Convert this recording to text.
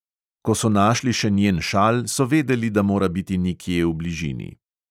Ko so našli še njen šal, so vedeli, da mora biti nekje v bližini.